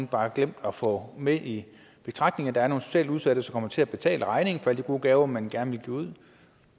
bare glemt at få med i betragtningerne at der er nogle socialt udsatte som kommer til at betale regningen for alle de gode gaver man gerne vil give ud